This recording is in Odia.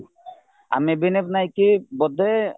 ଆମେ ନାଇକି ବୋଧେ